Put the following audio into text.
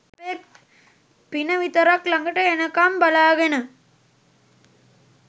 පින විතරක් ළඟට එනකම් බලාගෙන